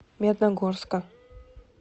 медногорска